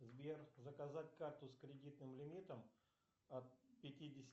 сбер заказать карту с кредитным лимитом от пятидесяти